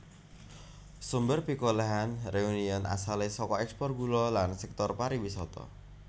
Sumber pikolèhan Réunion asalé saka ekspor gula lan sektor pariwisata